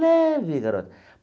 Leve, garoto.